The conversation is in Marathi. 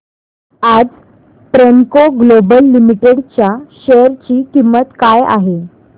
आज प्रेमको ग्लोबल लिमिटेड च्या शेअर ची किंमत काय आहे